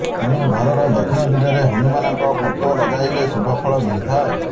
ତେଣୁ ଘରର ଦକ୍ଷିଣ ଦିଗରେ ହନୁମାନଙ୍କ ଫଟୋ ଲଗାଇଲେ ଶୁଭ ଫଳ ମିଳିଥାଏ